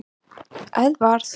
Edvard